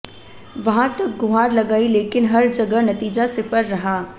वहां तक गुहार लगाई लेकिन हर जगह नतीजा सिफर रहा